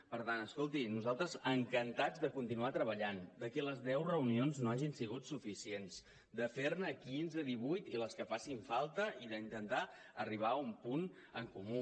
per tant escolti nosaltres encantats de continuar treballant que les deu reunions no hagin sigut suficients de fer ne quinze divuit i les que facin falta i d’intentar arribar a un punt en comú